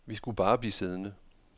Vi skulle bare blive siddende.